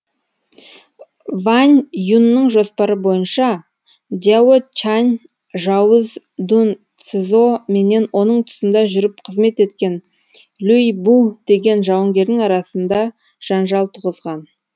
вань юнның жоспары бойынша дяо чань жауыз дун цзо менен оның тұсында жүріп қызмет еткен люй бу деген жауынгердің арасында жанжалтуғызған